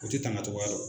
O tɛ tangacogoya dɔn